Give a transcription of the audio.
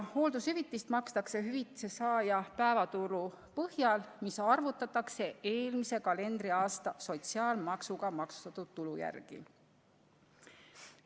Hooldushüvitist makstakse hüvitise saaja päevatulu põhjal, mis arvutatakse eelmise kalendriaasta sotsiaalmaksuga maksustatud tulu järgi.